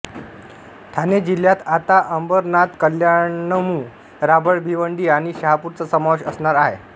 ठाणे जिल्ह्यात आता अंबरनाथकल्याणमुरबाडभिवंडी आणि शहापूरचा समावेश असणार आहे